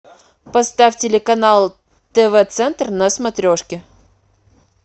поставь телеканал тв центр на смотрешке